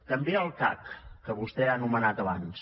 també el cac que vostè ha anomenat abans